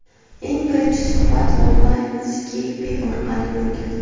Eng birinchi suhbat onlayn Skype orqali bo‘lgan.